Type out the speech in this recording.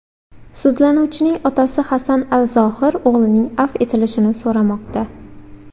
Sudlanuvchining otasi Hasan al-Zohir o‘g‘lining avf etilishini so‘ramoqda.